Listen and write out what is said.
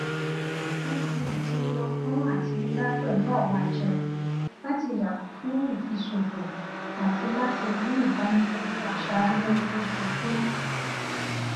wọn ti di ọgbọn àtinúdá pẹlú àwọn àjẹkù láti yàgò fún ìfiṣòfò àti láti rí ìdánilójú aṣara lóore ojoojúmọ